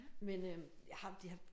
Men øh jeg har de har